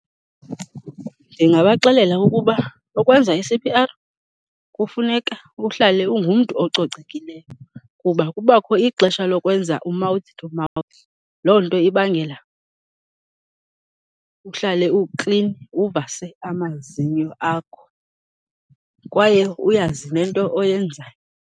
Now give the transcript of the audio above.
Ndingabaxelela ukuba ukwenza i-C_P_R kufuneka uhlale ungumntu ococekileyo kuba kubakho ixesha lokwenza u-mouth to mouth. Loo nto ibangela uhlale uklini, uvase amazinyo akho kwaye uyazi nento oyenzayo.